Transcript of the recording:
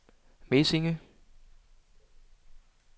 Mesinge